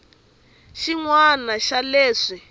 ni xin wana xa leswi